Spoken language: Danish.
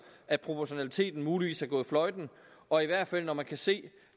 at proportionaliteten muligvis er gået fløjten og i hvert fald når man kan se